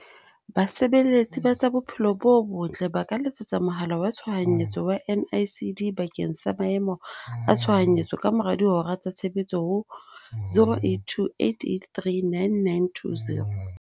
Basebeletsi ba tsa Bophelo bo Botle ba ka letsetsa mohala wa Tshohanyetso wa NICD bakeng sa Maemo a Tshohanyetso kamora dihora tsa tshebetso ho- 082 883 9920.